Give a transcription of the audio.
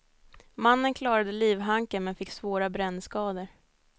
Mannen klarade livhanken, men fick svåra brännskador.